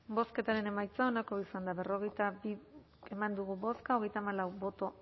bozketaren emaitza onako izan da berrogeita bi eman dugu bozka hogeita hamalau boto